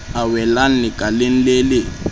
a welang lekaleng le le